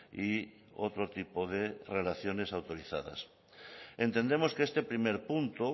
y otro tipo de relaciones autorizadas entendemos que este primer punto